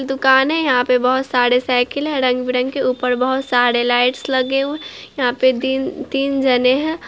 दुकान है यहाँ पे बहोत सारे साइकिल हैं| रंग-बिरंग ऊपर बहोत सारे लाइट्स लगे हुए यहाँ पे दिन तीन जने हैं।